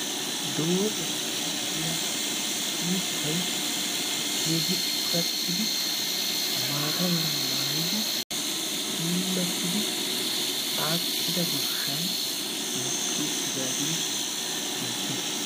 Doozata gidiya uttay keehi coratidi maataa meera maayidi puulatidi aakida goshshaan mokkidi uttidagee beettess.